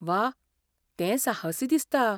वा! तें साहसी दिसता.